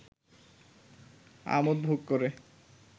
আমোদ ভোগ করে